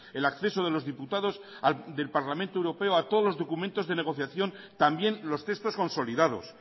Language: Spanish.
el acceso de los diputados del parlamento europeo a todos los documentos de negociación también los textos consolidados